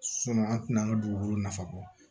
an tɛna an ka dugukolo nafa bɔ